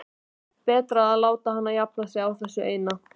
Betra að láta hana jafna sig á þessu eina.